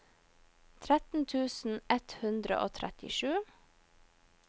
tretten tusen ett hundre og trettisju